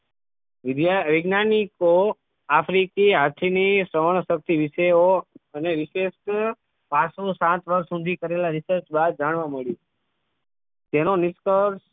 વિજ્ઞા વિજ્ઞાનિકો આફ્રિકી હાથી ની સહનશકિત વિષે ઑ અને વિશિષ્ટ પાંચ થી સાત વર્ષ સુધી કરેલા research બાદ જાણવા મળ્યું તેનો નિષ્કર્ષ